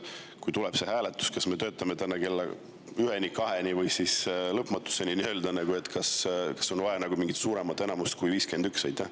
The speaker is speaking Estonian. Kui tuleb see hääletus, kas me töötame täna kella üheni, kaheni või nii-öelda lõpmatuseni, kas siis on vaja mingit suuremat enamust kui 51?